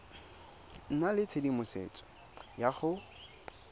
nna le tshedimosetso ya go